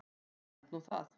Ég held nú það!